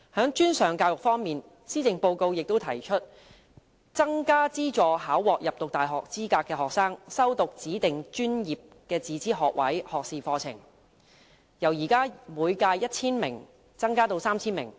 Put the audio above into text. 在專上教育方面，施政報告提出增加資助考獲入讀大學資格的學生修讀指定專業自資學士學位課程，由現時每屆 1,000 名增加至 3,000 名。